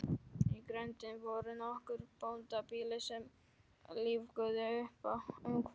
Í grenndinni voru nokkur bóndabýli sem lífguðu uppá umhverfið.